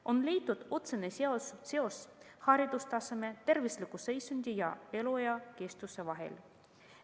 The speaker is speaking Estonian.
On leitud otsene seos haridustaseme, tervisliku seisundi ja eluea pikkuse vahel.